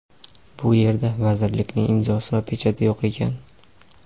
bu yerda vazirlikning imzosi va pechati yo‘q ekan.